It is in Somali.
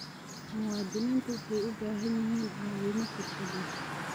Muwaadiniintu waxay u baahan yihiin caawimo xirfad leh.